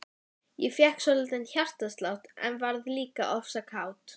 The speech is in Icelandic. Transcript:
Ég fékk svolítinn hjartslátt, en varð líka ofsa kát.